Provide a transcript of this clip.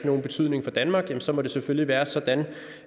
nogen betydning for danmark så må det selvfølgelig være sådan